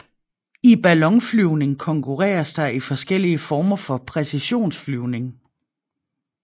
I ballonflyvning konkurreres der i forskellige former for præcisionsflyvning